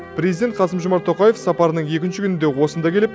президент қасым жомарт тоқаев сапарының екінші күнінде осында келіп